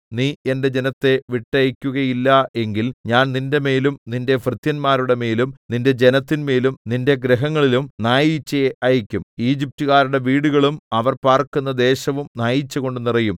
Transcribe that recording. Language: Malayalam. നീ എന്റെ ജനത്തെ വിട്ടയയ്ക്കുകയില്ല എങ്കിൽ ഞാൻ നിന്റെമേലും നിന്റെ ഭൃത്യന്മാരുടെമേലും നിന്റെ ജനത്തിൻമേലും നിന്റെ ഗൃഹങ്ങളിലും നായീച്ചയെ അയയ്ക്കും ഈജിപ്റ്റുകാരുടെ വീടുകളും അവർ പാർക്കുന്ന ദേശവും നായീച്ചകൊണ്ട് നിറയും